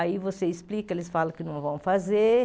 Aí você explica, eles falam que não vão fazer.